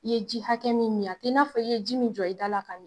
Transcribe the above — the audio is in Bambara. I ye ji hakɛ min min a t'i n'a fɔ, i ye ji min jɔ i da ka